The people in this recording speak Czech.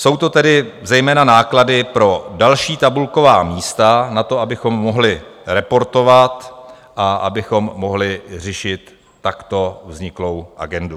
Jsou to tedy zejména náklady pro další tabulková místa, na to, abychom mohli reportovat a abychom mohli řešit takto vzniklou agendu.